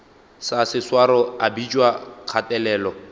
sa seswaro a bitšwa kgatelelo